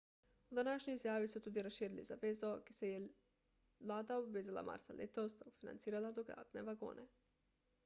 v današnji izjavi so tudi razširili zavezo ki se ji je vlada obvezala marca letos da bo financirala dodatne vagone